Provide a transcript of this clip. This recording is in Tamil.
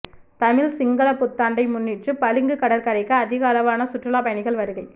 தமிழ் சிங்கள புத்தாண்டை முன்னிட்டு பளிங்கு கடற்கரைக்கு அதிகளவான சுற்றுலாப் பயணிகள் வருகை